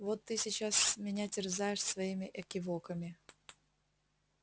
вот ты сейчас меня терзаешь своими экивоками